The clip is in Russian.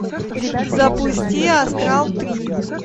запусти астрал три